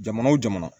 Jamana wo jamana